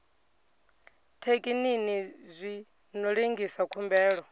thekinini zwi ḓo lengisa khumbelo